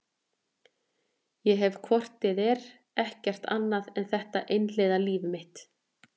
Ég hef hvort eð er ekkert annað en þetta einhliða líf mitt.